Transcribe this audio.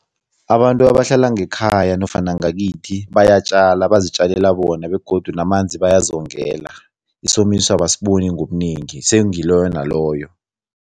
Abantu abahlala ngekhaya nofana ngakithi bayatjala, bazitjalela bona begodu namanzi bayazongela. Isomiso abasiboni ngobunengi, sengiloyo naloyo.